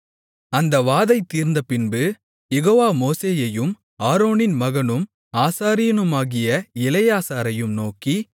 அந்த வாதை தீர்ந்தபின்பு யெகோவா மோசேயையும் ஆரோனின் மகனும் ஆசாரியனுமாகிய எலெயாசாரையும் நோக்கி